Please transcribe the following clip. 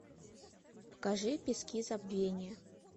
покажи пески забвения